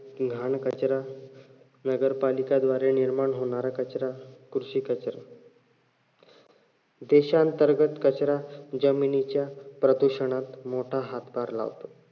घाण कचरा, नगरपालिका द्वारे निर्माण होणार कचरा, कृषी कचरा देशांतर्गत कचरा जमिनीच्या प्रदुषणात मोठा हातभार लावतो.